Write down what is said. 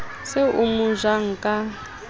se o mo ja ka